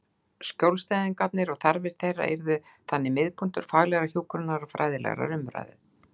Skjólstæðingarnir og þarfir þeirra yrðu þannig miðpunktur faglegrar hjúkrunar og fræðilegrar umræðu.